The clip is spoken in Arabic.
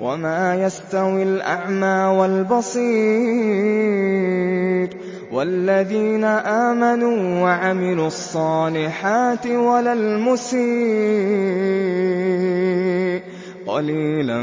وَمَا يَسْتَوِي الْأَعْمَىٰ وَالْبَصِيرُ وَالَّذِينَ آمَنُوا وَعَمِلُوا الصَّالِحَاتِ وَلَا الْمُسِيءُ ۚ قَلِيلًا